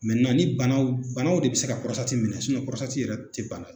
Mɛ ni banaw banaw de be se ka pɔrɔsitati minɛ sinɔn pɔrɔsitati yɛrɛ te bana ye